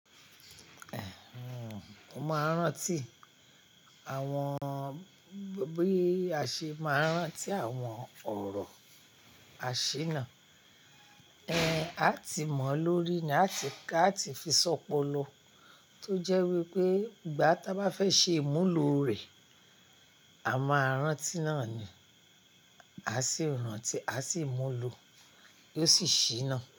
Ẹ̀h, òun máa ń rántí àwọn bí a ṣe máa ń rántí àwọn ọ̀rọ̀ àṣíná. Ẹ̀h à tí mọ̀ ọ́ lórí ni a ti ká àti fi ṣọ́pọ̀lọ, tó jẹ́ wípé ìgbà tá bá fẹ́ ṣe ìmúlò rẹ̀, a máa rántí náà ni. A sì rántí, a sì mú lọ, yo sì ṣíná.